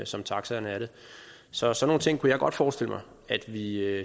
som taxaerne er det så sådan nogle ting kunne jeg godt forestille mig at vi